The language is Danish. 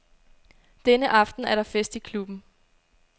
Denne aften er der fest i klubben.